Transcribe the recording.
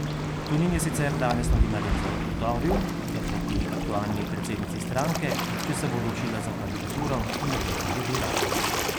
Tonin je sicer danes novinarjem zagotovil, da proti aktualni predsednici stranke, če se bo odločila za kandidaturo, ne bo kandidiral.